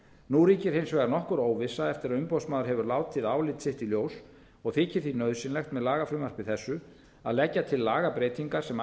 nú ríkir hins vegar nokkur óvissa eftir að umboðsmaður hefur látið álit sitt í ljós og þykir því nauðsynlegt með lagafrumvarpi þessu að leggja til lagabreytingar sem